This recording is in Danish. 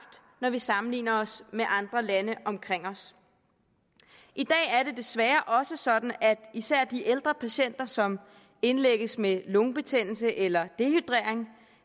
når vi sammenligner os med andre lande omkring os i dag er det desværre også sådan at især de ældre patienter som indlægges med lungebetændelse eller dehydrering